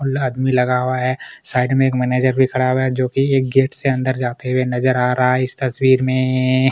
आदमी लगा हुआ है साइड में एक मैनेजर भी खड़ा हुआ है जोकि गेट से अंदर जाते हुए नजर आ रहा है इस तस्वीर में एएए --